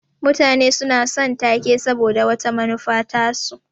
Mutane suna son ta-ke saboda wata manufa tasu.